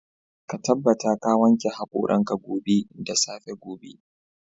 Ka tabbata ka wanke haƙoran ka gobe da safe gobe.